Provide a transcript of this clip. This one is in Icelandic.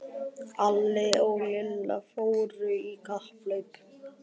Alli og Lilla fóru í kapphlaup.